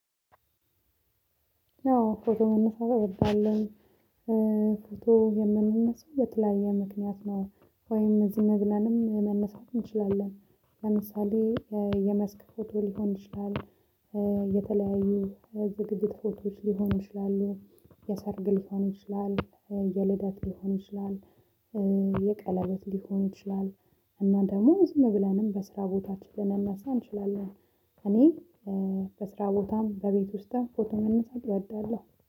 አዎ ፎቶ መነሳት እወዳለሁኝ። ፎቶ የምንነሳው በተለያየ ምክንያት ነው። ወይም ዝም ብለንም መነሳት እንችላለን። ለምሳሌ የመስክ ፎቶ ሊሆን ይችላል። የተለያዩ ዝግጅት ፎቶዎች ሊሆኑ ይችላሉ። የሰርግ ሊሆን ይችላል የልደት ሊሆን ይችላል። የቀለበት ሊሆን ይችላል። እና ደግሞ ዝም ብለንም በስራ ቦታችን ልንነሳ እንችላለን። እኔ በስራ ቦታም በቤት ውስጥም ፎቶ መነሳት እወዳለሁ